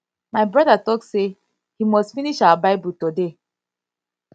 my brother talk say he must finish our bible bible toda